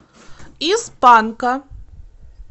из панка